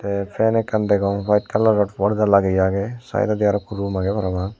te fan ekkan degong white colour or porda lageyi aage side odi aro ikko room aage parapang.